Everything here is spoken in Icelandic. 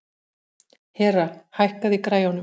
Hera, hækkaðu í græjunum.